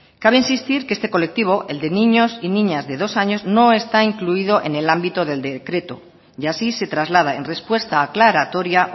cabe insistir que este colectivo el de niños y niñas de dos años no está incluido en el ámbito del decreto y así se traslada en respuesta aclaratoria